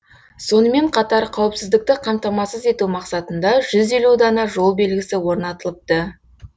сонымен қатар қауіпсіздікті қамтамасыз ету мақсатында жүз елу дана жол белгісі орнатылыпты